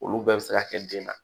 Olu bɛɛ bɛ se ka kɛ den na